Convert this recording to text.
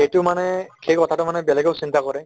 সেইটো মানে সেইকথাটো মানে বেলেগেও চিন্তা কৰে